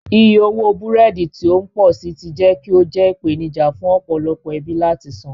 Iye owó búrẹ́dì tí ó ń pọ̀ sí i ti jẹ́ kí ó jẹ́ ìpèníjà fún ọ̀pọ̀lọpọ̀ ẹbí láti san.